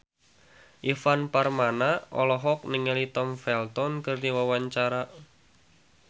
Ivan Permana olohok ningali Tom Felton keur diwawancara